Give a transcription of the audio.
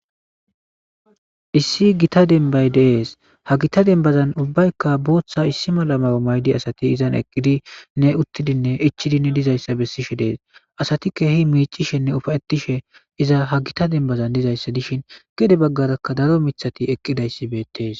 issi gita dembay deees ha gita dembazan ubbaykka booththa issi mala mayo maydi asati izan eqqidinne uttidinne ichidinne dizayssa bessishe dees asati keehi miicishenne ufawettishe iza ha gita dembazan dizayssa dishin gede baggarakka daro mithati eqqidayssi beettees